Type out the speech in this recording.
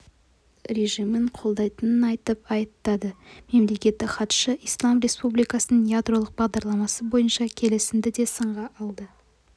режимін қолдайтынын айтып айыптады мемлекеттік хатшы ислам республикасының ядролық бағдарламасы бойынша келісімді де сынға алды